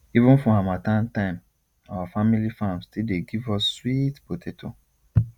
even for harmattan time our family farm still dey give us sweet potato